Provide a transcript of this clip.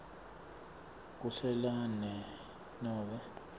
kuhlela ne nobe